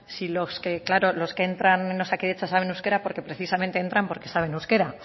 si los que entran en osakidetza saben euskera porque precisamente entran porque saben euskera